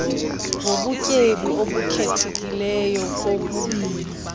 ngobutyebi obukhethekileyo kokubini